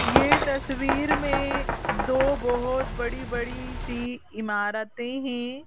ये तस्वीर में दो बहुत बड़ी बड़ी सी इमारतें हैं।